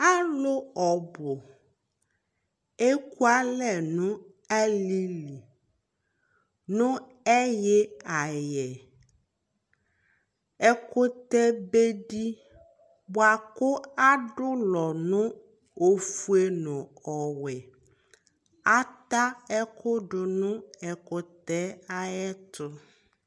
alò ɔbu eku alɛ no alili no ɛyi ayɛ ɛkutɛ be di boa kò adu ulɔ no ofue n'ɔwɛ ata ɛkò do no ɛkutɛ yɛ ayi ɛto